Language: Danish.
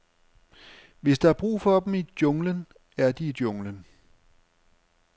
Hvis der er brug for dem i junglen, er de i junglen.